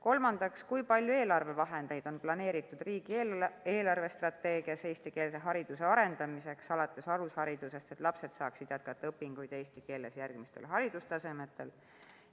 Kolmandaks: kui palju eelarvevahendeid on planeeritud "Riigi eelarvestrateegias 2021–2024" eestikeelse hariduse arendamiseks alates alusharidusest, et lapsed saaksid jätkata õpinguid eesti keeles järgmistel haridustasemetel?